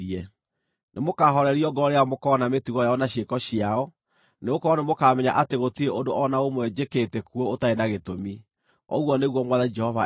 Nĩmũkahoorerio ngoro rĩrĩa mũkoona mĩtugo yao na ciĩko ciao, nĩgũkorwo nĩmũkamenya atĩ gũtirĩ ũndũ o na ũmwe njĩkĩte kuo ũtarĩ na gĩtũmi, ũguo nĩguo Mwathani Jehova ekuuga.”